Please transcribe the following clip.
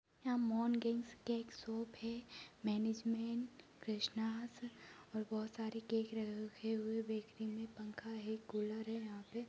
यहां मोग्नीनश के एक शॉप है मैनेजमेंट कृष्णाज और बहुत सारे केक रखे हुए बेकरी में पंखा है कूलर है यहां पे।